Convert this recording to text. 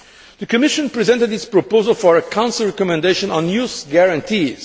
The Commission presented its proposal for a Council recommendation on youth guarantees.